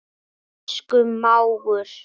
Elsku mágur.